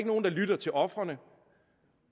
nogen der lytter til ofrene